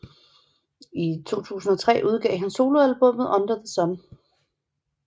I 2003 udgav han soloalbummet Under The Sun